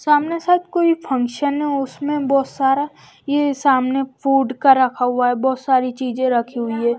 सामने सब कोई फंक्शन है उसमें बहोत सारा ये सामने फूड का रखा हुआ है बहोत सारी चीजें रखी हुई है।